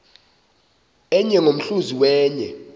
enye ngomhluzi wenye